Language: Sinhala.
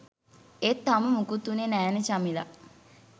ඒත් තාම මුකුත් වුණේ නෑනේ චමිලා